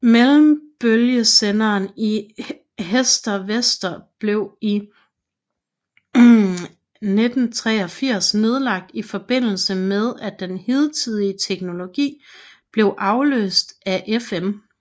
Mellembølgesenderen i Herstedvester blev i 1983 nedlagt i forbindelse med at den hidtidige teknologi blev afløst af FM